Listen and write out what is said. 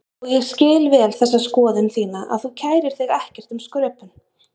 Og ég skil vel þessa skoðun þína að þú kærir þig ekkert um skröpun.